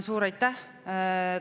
Suur aitäh!